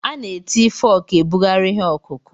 A na-eji fọọkụ ebugharị ihe ọkụkụ̀.